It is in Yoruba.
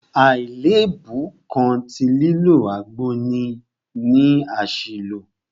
Àlèébú kan tí lílo àgbo ní ni àṣìlò.